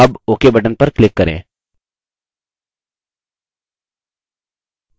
अब ok button पर click करें